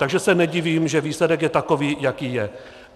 Takže se nedivím, že výsledek je takový, jaký je.